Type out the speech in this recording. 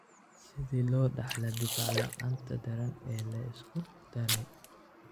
Sidee loo dhaxlaa difaac la'aanta daran ee la isku daray?